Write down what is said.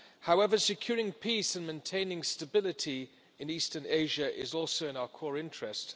However, securing peace and maintaining stability in eastern Asia is also in our core interest.